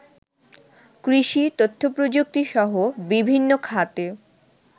কৃষি, তথ্যপ্রযুক্তিসহ বিভিন্ন খাতে